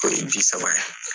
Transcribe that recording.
K'o ye ji saba.